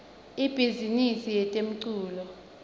ibhizimisi yetemculo